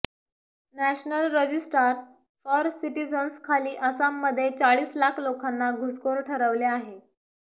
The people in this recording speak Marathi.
नॅशनल रजिस्ट्रार फॉर सिटिझन्स खाली आसाममधे चाळीस लाख लोकांना घुसखोर ठरवले आहेत